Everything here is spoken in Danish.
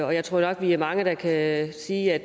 og jeg tror nok at vi er mange der kan sige at